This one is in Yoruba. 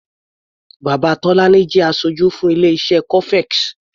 Bàbá Tọ́lání jẹ́ aṣojú fún ilé-iṣé cofex.